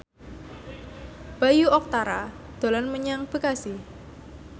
Bayu Octara dolan menyang Bekasi